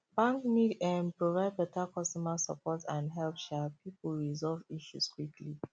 bank need um provide beta customer support and help um people resolve issues quickly